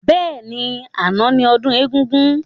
Bẹ́ẹ̀ni, àná ni ọdún egúngún.